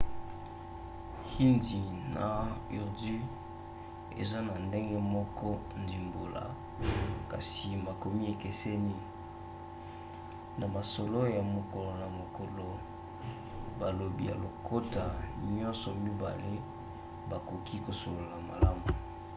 hindi na urdu eza na ndenge moko ndimbola kasi makomi ekeseni; na masolo ya mokolo na mokolo balobi ya lokota nyonso mibale bakoki kosolola malamu